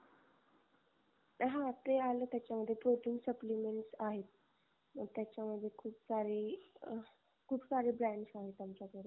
हा ते आल त्याच्यामध्ये protein supplements आहेत. त्याच्यामध्ये खूप सारे खूप सारे brands आहे आमच्याकडे